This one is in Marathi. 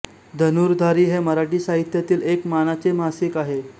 धनुर्धारी हे मराठी साहित्यातील एक मानाचे मासिक आहे